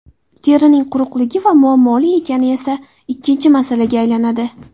Terining quruqligi va muammoli ekani esa ikkinchi masalaga aylanadi.